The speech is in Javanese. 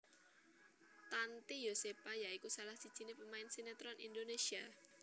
Tanty Yosepha ya iku salah sijiné pemain sinétron Indonésia